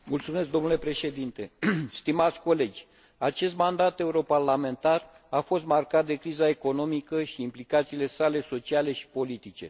Domnule Președinte, stimați colegi, acest mandat europarlamentar a fost marcat de criza economică și implicațiile sale sociale și politice.